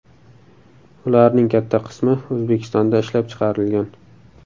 Ularning katta qismi O‘zbekistonda ishlab chiqarilgan.